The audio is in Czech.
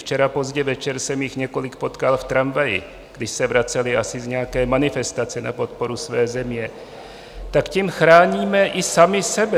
Včera pozdě večer jsem jich několik potkal v tramvaji, když se vracely asi z nějaké manifestace na podporu své země, tak tím chráníme i sami sebe.